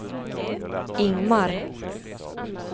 Ingmar